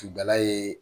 Finda ye